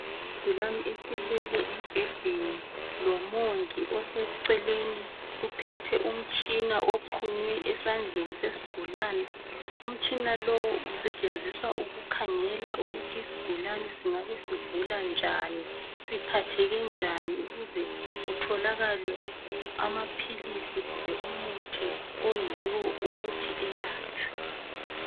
Isigulane esilele embhedeni lomongi oseceleni uphethe umtshina oxhunywe esandleni sesigulane. Umtshina lowu usetshenziswa ukukhangela ukuthi isigulane singabe sigula njani, siphatheke njani ukuze kutholakale amaphilisi kumbe umuthi oyiwo owokuthi elatshwe.